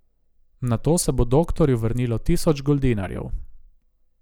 Nato se bo doktorju vrnilo tisoč goldinarjev.